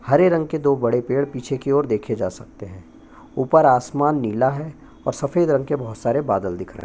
हरे रंग की दो बड़े पेड़ पीछे की ओर देखे जा सकते है ऊपर आसमान नीला हैं और सफेद रंग के बहोत सारे बादल दिख रहै है।